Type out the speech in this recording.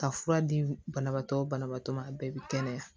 Ka fura di banabaatɔ banabaatɔ ma a bɛɛ bi kɛnɛya